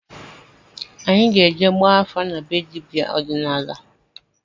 Anyị ga-eje gbaa afa na be dibịa ọdịnala